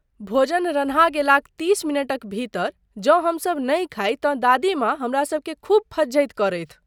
भोजन रन्हा गेलाक तीस मिनटक भीतर जँ हमसब नहि खाइ तँ दादी माँ हमरा सबकेँ खूब फज्झति करथि।